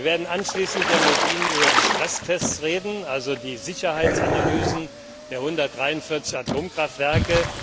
Wir werden anschließend mit Ihnen über die Stresstests reden, also die Sicherheitsanalysen der 143 Atomkraftwerke.